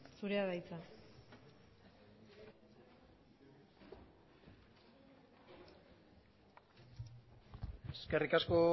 zurea da hitza eskerrik asko